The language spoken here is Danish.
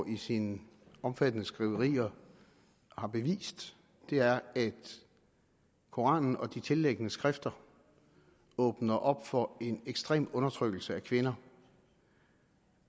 i sine omfattende skriverier har bevist er at koranen og de tilliggende skrifter åbner op for en ekstrem undertrykkelse af kvinder